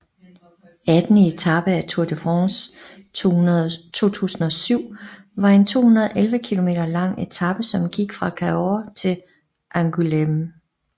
Attende etape af Tour de France 2007 var en 211 km lang etape som gik fra Cahors til Angoulême